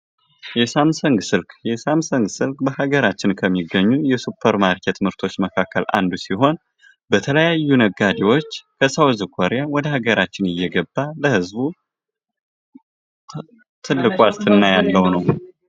የሳምሰንግ ስልክ የሳምሶንግ ስልክ በሀገራችን ከሚገኙ የሱፐር ማርኬት ምርቶች መካከል አንዱ ሲሆን በተለያዩ ነጋዴዎች ከሳውዝ ኮርያ ወደ ሀገራችን እየገባ ለህዝቡ ትልቅ ዋስትና ያለው ነው።